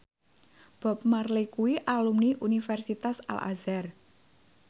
Bob Marley kuwi alumni Universitas Al Azhar